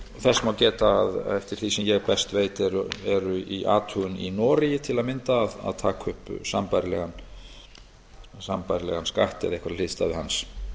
þess má geta að eftir því sem ég best veit er í athugun í noregi til að mynda að taka upp sambærilegan skatt eða einhverja hliðstæðu hans